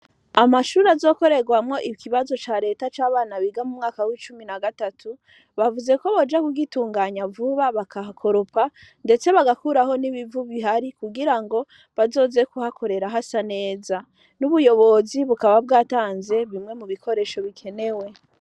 Amashuri azokorerwamwo ikibazo c'areta c'abana biga mu mwaka w'icumi na gatatu bavuze ko boja kugitunganya vuba bakahakoropa ndetse bagakuraho n'ibivu bihari kugirango bazoze ku hakorera hasa neza n'ubuyobozi bukaba bwatanze bimwe mu bikoresho bikenewe.